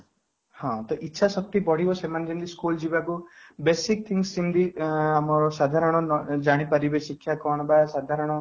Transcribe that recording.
ହଁ, ଇଛା ଶକ୍ତି ବଢିଲେ ସେମାନେ ଯେମିତି ସ୍କୁଲ ଯିବାକୁ basic things ଯେମିତି ଅଂ ଆମର ସାଧାରଣ ଜାଣିପାରିବେ ଶିକ୍ଷା କ'ଣ ବା ସାଧାରଣ